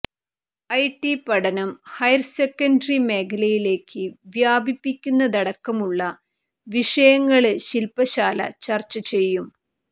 I T പഠനം higher secondary മേഖലയിലേക്ക് വ്യാപിപ്പിക്കുന്നതടക്കമുള്ള വിഷയങ്ങള് ശില്പ്പശാല ചര്ച്ച ചെയ്യും